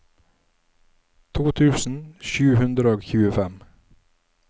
to tusen sju hundre og tjuefem